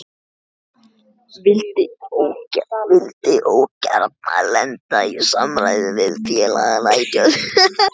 Vildi ógjarna lenda í samræðum við félagana í tjöldunum.